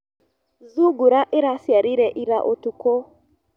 Thungura ĩraciarire ira ũtukũ.